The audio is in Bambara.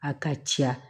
A ka ca